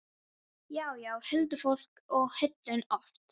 Já, já, huldufólk og hulin öfl.